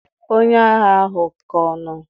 onye agha ahu ka no?